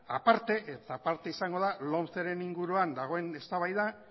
aparte izango da lomceren inguruan dagoen eztabaida